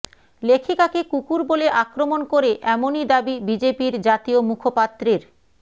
লেখিকাকে কুকুর বলে আক্রমণ করে এমনই দাবি বিজেপির জাতীয় মুখপাত্রের